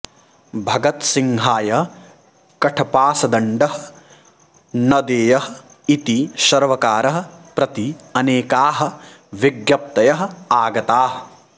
भगतसिंहाय कण्ठपाशदण्डः न देयः इति सर्वकारं प्रति अनेकाः विज्ञप्तयः आगताः